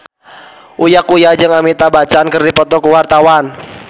Uya Kuya jeung Amitabh Bachchan keur dipoto ku wartawan